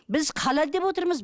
біз халал деп отырмыз